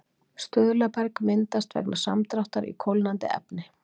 stuðlaberg myndast vegna samdráttar í kólnandi efni